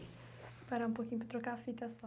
Vou parar um pouquinho para trocar a fita